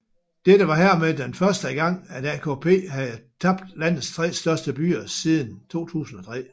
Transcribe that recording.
Dette var hermed den første gang at AKP havde tabt landets 3 største byer siden 2003